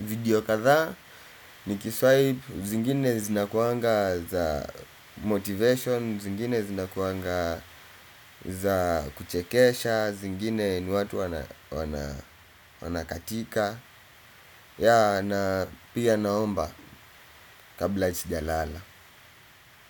video kathaa nikiswaip zingine zinakuanga za motivation. Zingine zinakuanga za kuchekesha, zingine ni watu wana katika yaa na pia naomba kabla sijalala.